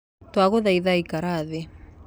Twagũthaitha ikara thĩ